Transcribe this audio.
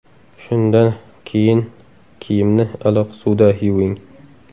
Shunda keyin kiyimni iliq suvda yuving.